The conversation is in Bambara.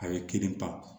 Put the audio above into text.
A ye kelen pa